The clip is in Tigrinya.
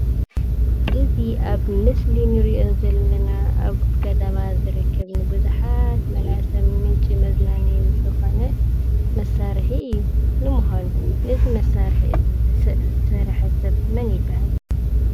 እዚ ኣብ ምስሊ እንሪኦ ዘለና ኣብ ከተማ ዝርከቡ ንቡዙሓት መናእሰይ ምንጪ መዝናነዪ ዝኾነ መሳርሒ እዩ። ንምዃኑ እዚ መሳርሒ ዝስ ዝሰረሐ ሰብ መን ይብሃል?